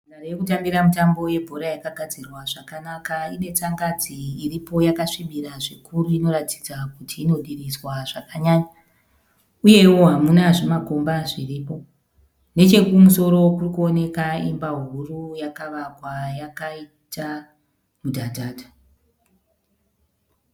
Nhandare yekutambira mutambo we bhora yakagadzirwa zvakanaka. Ine tsangadzi iripo yakasvibira zvikuru inoratidza kuti inodiridzwa zvakanyanya . Uyewo hamuna zvimakomba zvirimo, nechekumusoro kuri kuoneka Imba huru yakavakwa yakaita mudhadhadha.